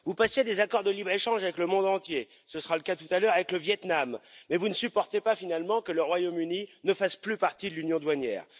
Vous passez des accords de libre échange avec le monde entier ce sera le cas tout à l'heure avec le Vietnam mais vous ne supportez pas, finalement, que le Royaume Uni ne fasse plus partie de l'union douanière.